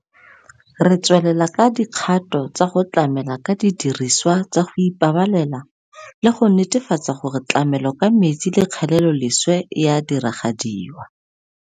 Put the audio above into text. Re tswelela ka dikgato tsa go tlamela ka didirisiwa tsa go ipabalela le go netefatsa gore tlamelo ka metsi le kgeleloleswe e a diragadiwa.